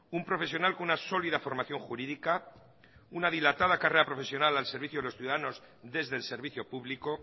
un profesional con una sólida formación jurídica una dilatada carrera profesional al servicio de los ciudadanos desde el servicio público